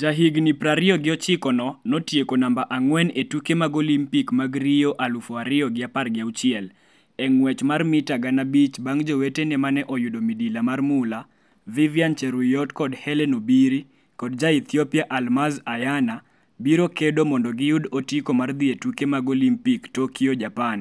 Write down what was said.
Jahigni pir ariyo gi ochiko no, notieko namba ang'wen e Tuke mag Olimpik mag Rio alfu ariyo gi apar gi auchiel e ng'wech mar mita gana abich bang' jowetene - mane oyudo midila mar mula, Vivian Cheruiyot kod Hellen Obiri, kod ja Ethiopia Almaz Ayana - biro kedo mondo giyud otiko mar dhi e tuke mag Olimpik, Tokyo Japan,